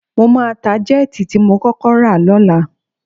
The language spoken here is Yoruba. Mo máa ta jẹ́ẹ̀tì tí mo kọ́kọ́ rà lọ́la